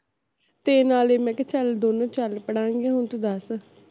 ਤੇ ਨਾਲੇ ਮੈਂ ਕਿਹਾ ਚੱਲ ਦੋਨੋ ਚੱਲ ਪੜਾਂਗੇ ਹੁਣ ਤੂੰ ਦੱਸ